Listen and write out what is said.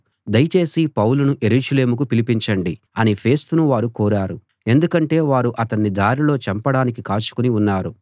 దయచేసి పౌలును యెరూషలేముకు పిలిపించండి అని ఫేస్తును వారు కోరారు ఎందుకంటే వారు అతణ్ణి దారిలో చంపడానికి కాచుకుని ఉన్నారు